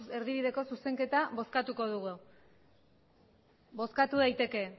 erdibideko zuzenketa bozkatuko dugu bozkatu daiteke